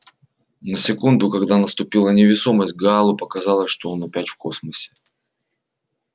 на секунду когда наступила невесомость гаалу показалось что он опять в космосе